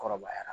Kɔrɔbayara